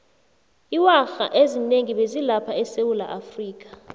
iwarha ezinengi bezi lapha esewulaafrika